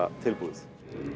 tilbúið